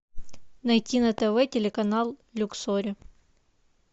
найти на тв телеканал люксори